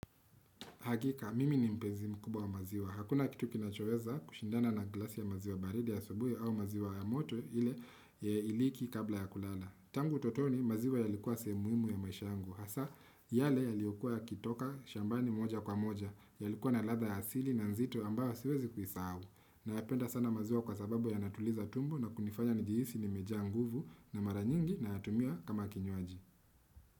Hakika mimi ni mpenzi mkubwa wa maziwa hakuna kitu kinachoweza kushindana na glasi ya maziwa baridi ya asubuhi au maziwa ya moto ile iliki kabla ya kulala. Tangu utotoni maziwa yalikuwa sehemu muhimu ya maisha yangu hasa yale yaliokua yakitoka shambani moja kwa moja yalikuwa na ladha ya asili na nzito ambayo siwezi kuisahau nayapenda sana maziwa kwa sababu yanatuliza tumbo na kunifanya njihisi nimejaa nguvu na mara nyingi nayatumia kama kinywaji.